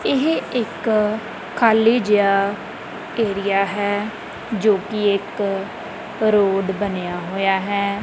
ਇਹ ਇੱਕ ਖਾਲੀ ਜਿਹਾ ਏਰੀਆ ਹੈ ਜੋ ਕਿ ਇੱਕ ਰੋਡ ਬਣਿਆ ਹੋਇਆ ਹੈ।